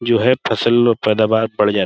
جو ہے فصل اور پیداوار بڑھ جاتی --